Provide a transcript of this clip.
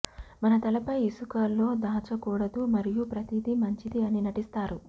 మన తలపై ఇసుకలో దాచకూడదు మరియు ప్రతిదీ మంచిది అని నటిస్తారు